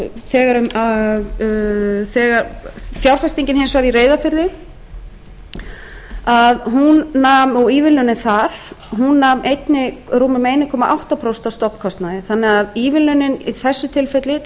þegar fjárfestingin hins vegar í reyðarfirði og ívilnanir þar hún nam rúmum einum komma átta prósent af stofnkostnaði þannig að ívilnunin í þessu tilfelli til